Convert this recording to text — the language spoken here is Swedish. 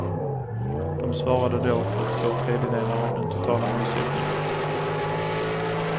De svarade då för två tredjedelar av den totala omsättningen.